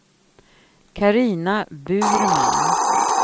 Carina Burman